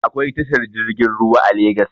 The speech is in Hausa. Akwai tashar jirgin ruwa a legas